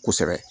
Kosɛbɛ